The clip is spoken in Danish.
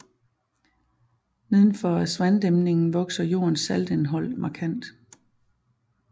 Neden for Aswandæmningen vokser jordens saltindhold markant